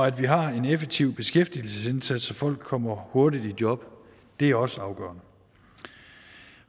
at vi har en effektiv beskæftigelsesindsats så folk kommer hurtigt i job er også afgørende